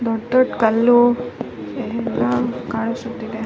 ದೊಡ್ಡ ದೊಡ್ಡ ಕಲ್ಲು ಎಲ್ಲ ಕಾಣಿಸುತ್ತಿದೆ-